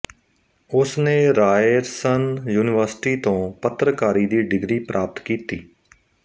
ਉਸਨੇ Ryerson University ਤੋਂ ਪੱਤਰਕਾਰੀ ਦੀ ਡਿਗਰੀ ਪ੍ਰਾਪਤ ਕੀਤੀ